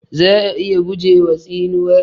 Za'a iya gujewa tsinuwa.